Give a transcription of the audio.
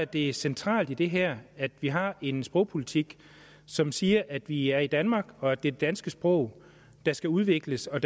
det centrale i det her at vi har en sprogpolitik som siger at vi er i danmark og at det danske sprog der skal udvikles og